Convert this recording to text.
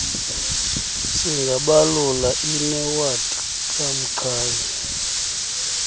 singabalula inewadi kamqhayi